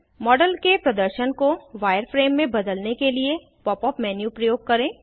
model के प्रदर्शन को वायरफ्रेम मे बदलने के लिए pop यूपी मेन्यू प्रयोग करें